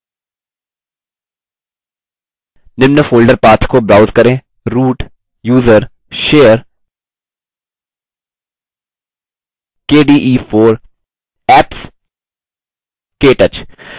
निम्न folder path को browse करें root> usr> share> kde4> apps> ktouch